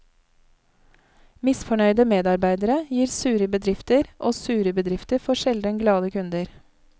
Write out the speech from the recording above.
Misfornøyde medarbeidere gir sure bedrifter, og sure bedrifter får sjelden glade kunder.